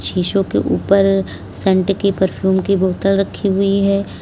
शिशो के ऊपर सेंट की परफ्यूम की बोतल रखी हुई है।